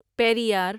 Periyar